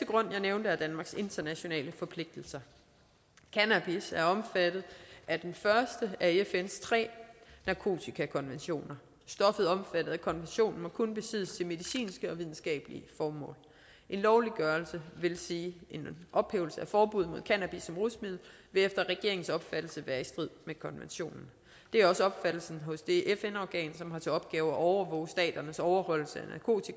grund jeg nævnte er danmarks internationale forpligtelser cannabis er omfattet af den første af fns tre narkotikakonventioner stoffer omfattet af konventionen må kun besiddes til medicinske og videnskabelige formål en lovliggørelse det vil sige en ophævelse af forbuddet mod cannabis som rusmiddel vil efter regeringens opfattelse være i strid med konventionen det er også opfattelsen hos det fn organ som har til opgave at overvåge staternes overholdelse